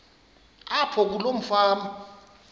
apho kuloo fama